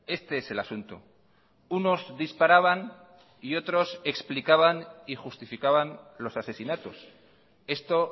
este es el asunto unos disparaban y otros explicaban y justificaban los asesinatos esto